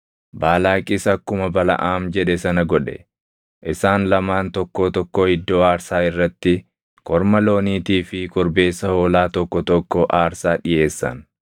Baalaaqis akkuma Balaʼaam jedhe sana godhe; isaan lamaan tokkoo tokkoo iddoo aarsaa irratti korma looniitii fi korbeessa hoolaa tokko tokko aarsaa dhiʼeessan.